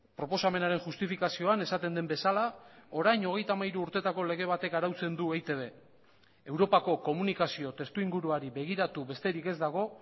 proposamenaren justifikazioan esaten den bezala orain hogeita hamairu urtetako lege batek arautzen du eitb europako komunikazio testuinguruari begiratu besterik ez dago